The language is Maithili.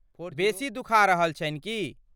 बेसी दुखा रहल छन्हि की ?